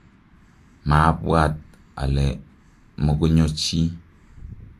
maabwat ale mukunyo chi